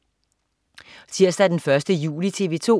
Tirsdag den 1. juli - TV 2: